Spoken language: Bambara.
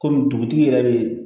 Kɔmi dugutigi yɛrɛ bɛ yen